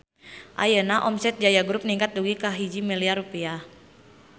Ayeuna omset Jaya Group ningkat dugi ka 1 miliar rupiah